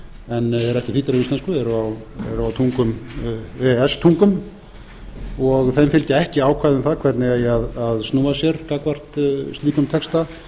en eru ekki þýddir á íslensku eru á e e s tungum og þeim fylgja ekki ákvæði um það hvernig eigi að snúa sér gagnvart slíkum texta